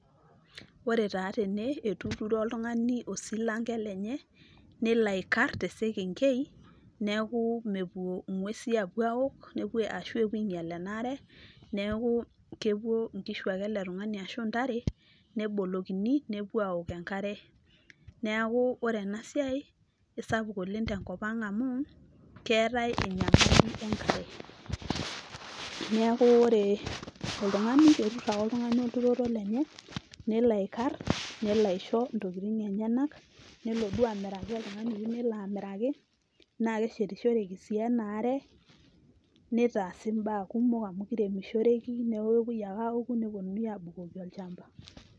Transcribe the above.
Ore taaa tene etuturo oltungani osilanke lenye ,neloaikar te senkenkei niaku mepuo ingwesi apuo aaok ashu epuoainyialenaaare niaku kepuo inkishu ake ashu intare ele tungani nebolokini nepuo aok enkare. Niaku ore ena siai kisapuk oleng tenkopang amu keetae enyamaliu enkare . Niaku ore oltungani ketur ake oltungani olturoto lenye , lelo aikar, nelo aisho intokitin enyenak , nelo duo amiraki oltungani oyieu nelo amiraki naa keshetishoreki sii ena are , nitaasi imbaa kumok amu kiremishoreki , niaku kepuoi ake aoku neponuni abukoki olchamba.